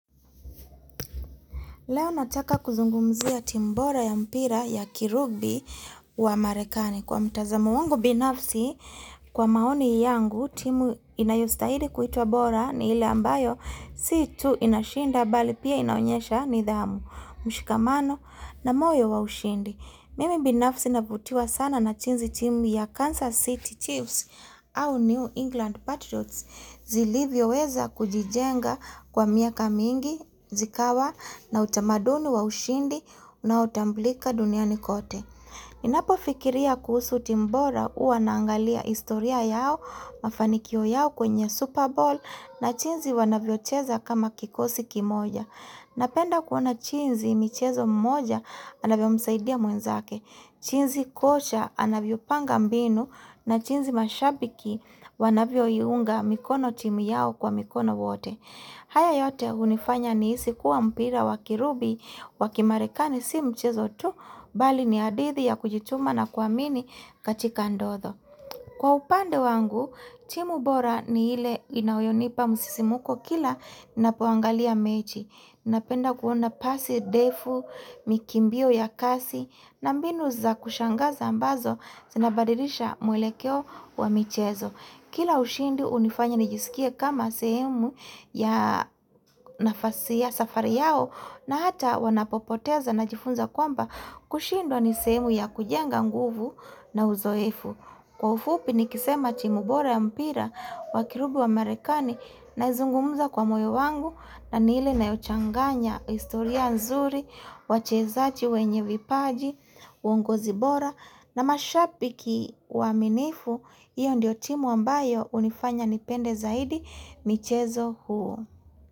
Leo nataka kuzungumzia timu bora ya mpira ya kirugbi wa marekani. Kwa mtazamo wangu binafsi, kwa maoni yangu timu inayostahili kuitwa bora ni ile ambayo si tu inashinda mbali pia inaonyesha nidhamu, mshikamano na moyo wa ushindi. Mimi binafsi navutiwa sana na jinsi timu ya Kansas City Chiefs au New England Patriots zilivyoweza kujijenga kwa miaka mingi, zikawa na utamaduni wa ushindi na utambulika duniani kote. Ninapofikiria kuhusu timu bora huwa naangalia historia yao, mafanikio yao kwenye Super Bowl na jinsi wanavyocheza kama kikosi kimoja. Napenda kuona jinsi michezo mmoja anavyomsaidia mwenzake, jinsi kocha anavyopanga mbinu na jinsi mashabiki wanavyoiunga mikono timu yao kwa mikono wote. Haya yote unifanya nihisi kuwa mpira wakirubi wakimarekani si michezo tu, mbali ni hadithi ya kujituma na kuamini katika Kwa upande wangu, timu bora ni ile inayonipa musisimuko kila ninapoangalia mechi. Napenda kuona pasi ndefu, mikimbio ya kasi, na mbinu za kushangaza ambazo zinabadirisha mwelekeo wa michezo. Kila ushindi hunifanya nijisikie kama sehemu ya nafasi ya safari yao na hata wanapopoteza najifunza kwamba kushindwa ni sehemu ya kujenga nguvu na uzoefu. Kwa ufupi nikisema timu bora ya mpira wakirubi wa Amerikani naizungumuza kwa moyo wangu na ni ile inayochanganya historia nzuri, wachezaji wenye vipaji, uongozi bora na mashabiki waaminifu, hiyo ndio timu ambayo hunifanya nipende zaidi michezo huo.